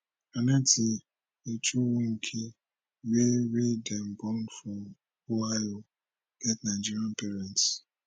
annette echikunwoke wey wey dem born for ohio get nigerian parents